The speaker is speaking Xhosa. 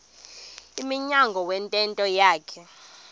emnyango wentente yakhe